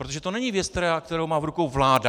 Protože to není věc, kterou má v rukou vláda.